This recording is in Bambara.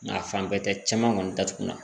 Nka fan bɛɛ tɛ caman kɔni datugula